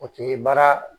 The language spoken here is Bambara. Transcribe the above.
O tun ye baara